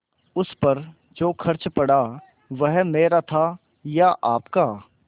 उस पर जो खर्च पड़ा वह मेरा था या आपका